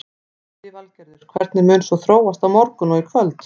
Lillý Valgerður: Hvernig mun svo þróast á morgun og í kvöld?